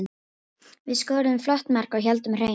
Við skoruðum flott mark og héldum hreinu.